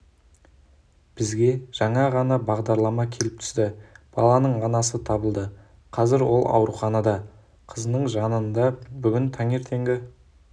бізге жаңа ғана хабарлама келіп түсті баланың анасы табылды қазір ол ауруханада қызының жанында бүгін таңертеңгі